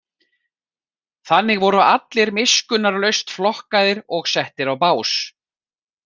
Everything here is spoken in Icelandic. Þannig voru allir miskunnarlaust flokkaðir og settir á bás.